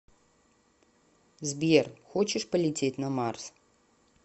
сбер хочешь полететь на марс